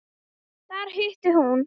Þar hitti hún